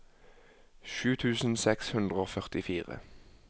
sju tusen seks hundre og førtifire